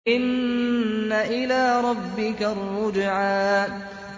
إِنَّ إِلَىٰ رَبِّكَ الرُّجْعَىٰ